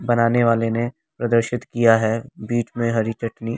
बनाने वाले ने प्रदर्शित किया है बीच में हरी चटनी--